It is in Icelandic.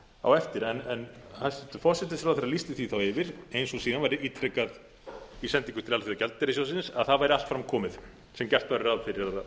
á eftir hæstvirtum forsætisráðherra lýsti því þá yfir eins og síðan var ítrekað í sendingu til alþjóðagjaldeyrissjóðsins að það væri allt fram komið sem gert væri ráð fyrir að